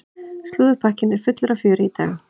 Slúðurpakkinn er fullur af fjöri í dag.